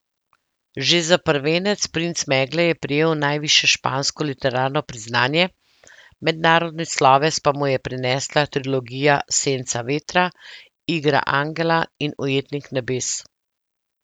Že za prvenec Princ megle je prejel najvišje špansko literarno priznanje, mednarodni sloves pa mu je prinesla trilogija Senca vetra, Igra angela in Ujetnik nebes.